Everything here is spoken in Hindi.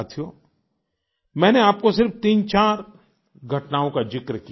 साथियो मैंने आपको सिर्फ तीनचार घटनाओं का जिक्र किया